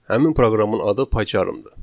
Həmin proqramın adı PyCharm-dır.